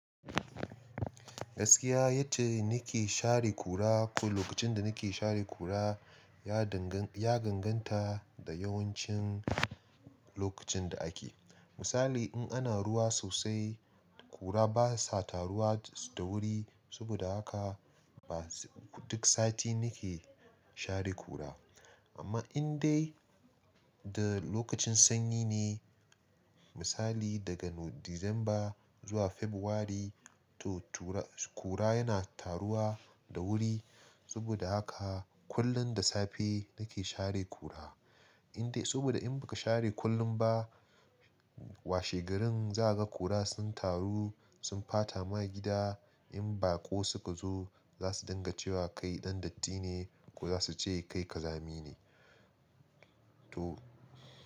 Gaskiya yacce nake share kura, ko lokacin da ni ke share kura, ya danganta ya ganganta da yawancin lokacin da ake. Misali in ana ruwa sosai, kura basa taruwa da wuri, saboda haka ba duk sati ni ke share kura. Amma in dai da lokacin sanyi ne, misali daga December zuwa February, to kura yana taruwa da wuri. Saboda haka kullum da safe nake share kura. In dai, saboda in baka share kullum ba, washe garin za ka ga kura sun taru, sun bata ma gida. In baƙo suka zo, za su dinga cewa kai ɗan datti ne, ko za su ce kai ƙazami ne. To.